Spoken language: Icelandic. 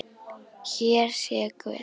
Hér sé Guð